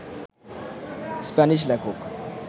Spanish লেখক